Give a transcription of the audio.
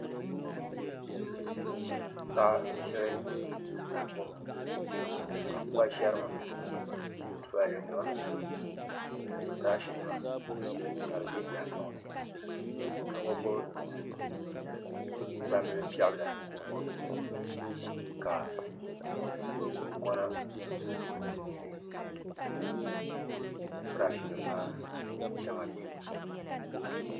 Paɣa n ʒiri tahapoʋ ka kpa ʒɛrima tulaalɛ nima ni birash nima ka di bɛ tahapoŋ ni ka o gbubi gbambili piɛ bili o nuuni ka kunkona mini birash nim maa shɛŋa bɛ di puuni